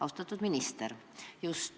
Austatud minister!